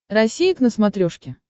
россия к на смотрешке